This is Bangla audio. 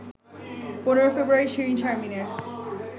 ১৫ ফেব্রুয়ারি শিরীন শারমিনের